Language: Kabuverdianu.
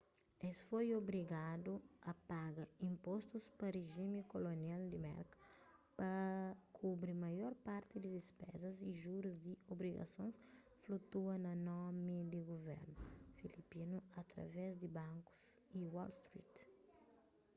es foi obrigadu a paga inpostus pa rijimi kolonial di merka pa kubri maior parti di dispezas y jurus di obrigasons flutua na nomi di guvernu filipinu através di bankus di wall street